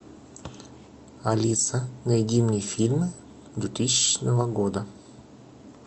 алиса найди мне фильмы двухтысячного года